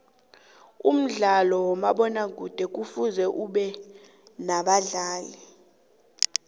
umdlalo kamabona kude kufuze ubenabadlali